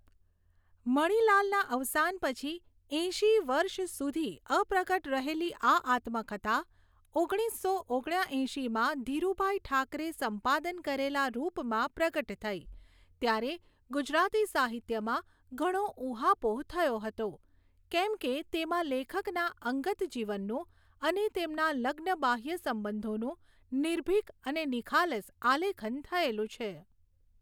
મણીલાલના અવસાન પછી એંશી વર્ષ સુધી અપ્રગટ રહેલી આ આત્મકથા ઓગણીસસો ઓગણ્યા એંશીમાં ધીરુભાઈ ઠાકરે સંપાદન કરેલાં રુપમાં પ્રગટ થઈ ત્યારે ગુજરાતી સાહિત્યમાં ઘણો ઊહાપોહ થયો હતો કેમ કે તેમાં લેખકના અંગતજીવનનું અને તેમના લગ્નબાહ્ય સંબધોનું નીર્ભિક અને નિખાલસ આલેખન થયેલું છે.